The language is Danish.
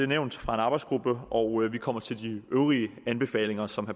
nævnt fra en arbejdsgruppe og vi kommer til de øvrige anbefalinger som